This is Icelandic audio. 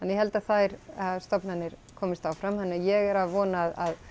ég held að þær stofnanir komist áfram þannig ég er að vona að